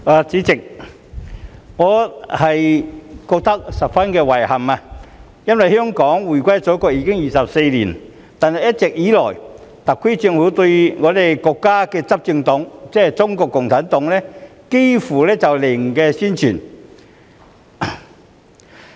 主席，我覺得十分遺憾，因為香港回歸祖國已經24年，但一直以來，特區政府對於國家的執政黨，即中國共產黨幾乎是"零宣傳"。